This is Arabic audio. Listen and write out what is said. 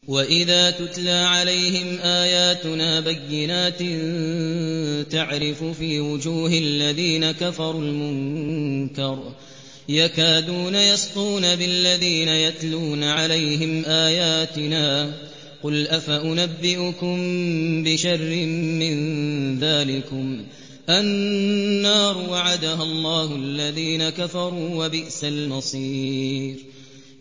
وَإِذَا تُتْلَىٰ عَلَيْهِمْ آيَاتُنَا بَيِّنَاتٍ تَعْرِفُ فِي وُجُوهِ الَّذِينَ كَفَرُوا الْمُنكَرَ ۖ يَكَادُونَ يَسْطُونَ بِالَّذِينَ يَتْلُونَ عَلَيْهِمْ آيَاتِنَا ۗ قُلْ أَفَأُنَبِّئُكُم بِشَرٍّ مِّن ذَٰلِكُمُ ۗ النَّارُ وَعَدَهَا اللَّهُ الَّذِينَ كَفَرُوا ۖ وَبِئْسَ الْمَصِيرُ